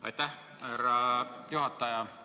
Aitäh, härra juhataja!